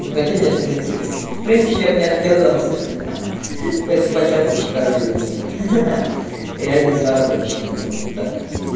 ну хотя нет в принципе в принципе я б не отказался ха-ха пойду по чатам похожу ёбаный ха-ха реальный заработок ну так